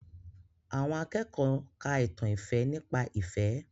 Àwọn akẹ́kọ̀ọ́ ka ìtàn ìfẹ́ nípa ìfẹ́